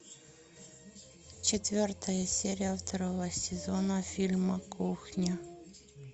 четвертая серия второго сезона фильма кухня